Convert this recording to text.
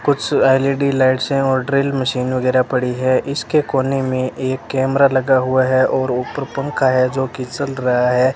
कुछ L E D lights हैं और ड्रिल मशीन वगैरह पड़ी है इसके कोने में एक कैमरा लगा हुआ है और ऊपर पंखा है जो कि चल रहा है।